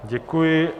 Děkuji.